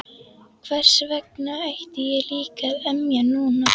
Hversvegna ætti ég líka að emja núna?